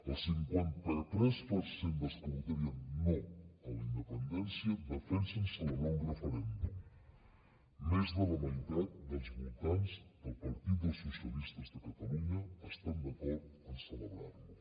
el cinquanta tres per cent dels que votarien no a la independència defensen celebrar un referèndum més de la meitat dels votants del partit dels socialistes de catalunya estan d’acord a celebrar lo